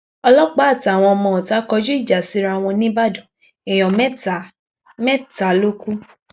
ọlọpàá àtàwọn ọmọọta kọjú ìjà síra wọn níìbàdàn èèyàn mẹta mẹta ló kú